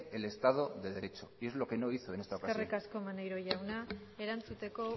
el estado de derecho y es lo que no hizo en esta ocasión eskerrik asko maneiro jauna erantzuteko